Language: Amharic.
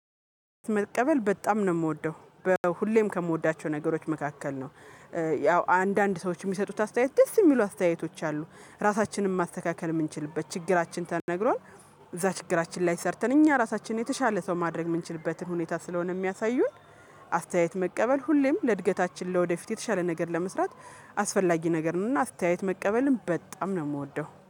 መቀበል በጣም ነው የምወደው በሁሌም ከምወዳቸው ነገሮች መካከል ነው ያው አንዳንድ ሰዎች የሚሰጡት አስተያየት ደስ የሚሉ አስተያየቶች አሉ ራሳችንን ማስተካከል የምንችልበት ችግራችን ተነግሮን እዛ ችግራችን ላይ ሰርተን እኛ ራሳችንን የተሻለ ሰው ማድረግ የምንችልበትን ሁኔታ ስለሆነ የሚያሳዩን አስተያየት መቀበል ሁሌም ለእድገታችን ለወደፊት የተሻለ ነገር ለመስራት አስፈላጊ ነገር ነውና አስተያየት መቀበልን በጣም ነው የምወደው።